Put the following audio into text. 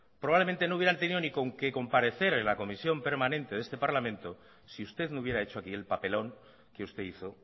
probablemente no hubieran tenido ni que comparecer en la comisión permanente de este parlamento si usted no hubiera hecho aquí el papelón que usted hizo